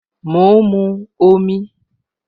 Mo ń mu omi